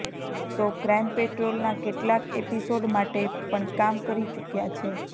તો ક્રાઈમ પેટ્રોલના કેટલાક એપિસોડ માટે પણ કામ કરી ચૂક્યા છે